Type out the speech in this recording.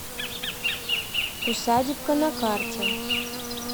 усадебка на карте